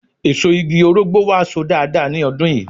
Èso igi Orógbó wa So dáadáa ní ọdún yìí